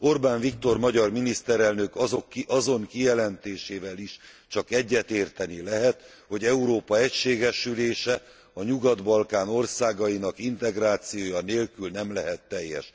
Orbán Viktor magyar miniszterelnök azon kijelentésével is csak egyetérteni lehet, hogy Európa egységesülése a Nyugat Balkán országainak integrációja nélkül nem lehet teljes.